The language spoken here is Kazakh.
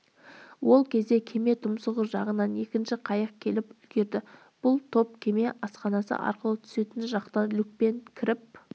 сол кезде кеме тұмсығы жағынан екінші қайық келіп үлгерді бұл топ кеме асханасы арқылы түсетін жақтан люкке кіріп